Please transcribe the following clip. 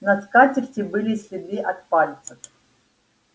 на скатерти были следы от пальцев